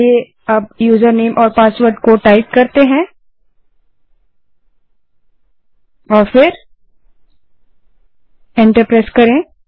चलिए अब यूज़रनेम और पासवर्ड टाइप करते हैं और फिर एंटर प्रेस करें